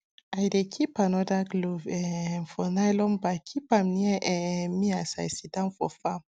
i dey keep another glove um for nylon bag keepam near um me as i sitdown for farm